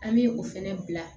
An bɛ o fɛnɛ bila